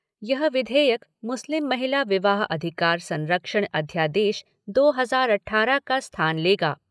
यह विधेयक मुस्लिम महिला विवाह अधिकार संरक्षण अध्यादेश दो हजार अट्ठारह का स्थान लेगा।